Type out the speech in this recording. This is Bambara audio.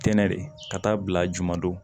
Kɛnɛ de ka taa bila juman don